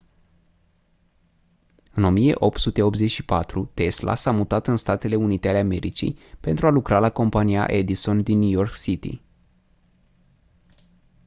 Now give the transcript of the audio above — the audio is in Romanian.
în 1884 tesla s-a mutat în statele unite ale americii pentru a lucra la compania edison din new york city